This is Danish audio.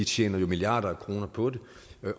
tjener jo milliarder af kroner på det